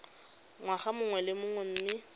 ngwaga mongwe le mongwe mme